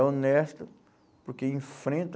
É honesta porque enfrenta